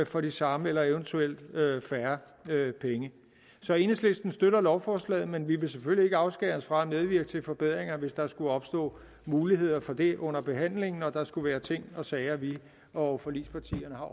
for de samme eller eventuelt færre penge så enhedslisten støtter lovforslaget men vi vil selvfølgelig ikke afskære os fra at medvirke til forbedringer hvis der skulle opstå muligheder for det under behandlingen og der skulle være ting og sager vi og forligspartierne